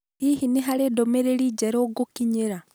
Hihi nĩ harĩ ndũmĩrĩri njerũ ngũkinyĩra?